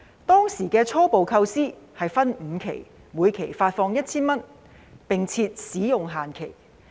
當時的初步構思是分5期每期發放 1,000 元，並設使用限期。